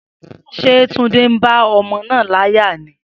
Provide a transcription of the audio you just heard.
Se Tunde n ba omo naa laya ni?